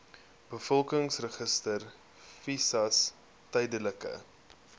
bevolkingsregister visas tydelike